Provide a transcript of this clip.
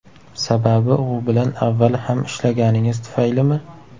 Sababi u bilan avval ham ishlaganingiz tufaylimi?